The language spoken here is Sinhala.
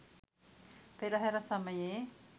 පෙරහර සමයේ